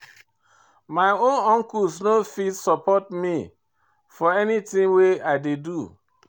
My own uncles no fit support me for anytin wey I dey do.